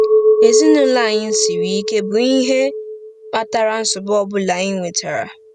Ezinụlọ anyị siri ike bụ ihe kpatara nsogbu ọ bụla anyị nwetara. ”